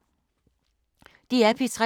DR P3